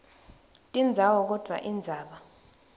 tindzawo kodvwa indzaba